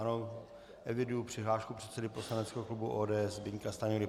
Ano, eviduji přihlášku předsedy poslaneckého klubu ODS Zbyňka Stanjury.